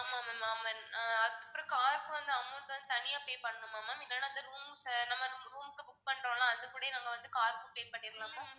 ஆமா ma'am ஆமா. ஆஹ் அதுக்கப்பறம் car க்கு வந்து amount வந்து தனியா pay பண்ணணுமா ma'am இல்லன்னா ஆஹ் நம்ம room க்கு book பண்றோம்ல அதுக்கூடயே நம்ம வந்து car க்கும் pay பண்ணிறலாமா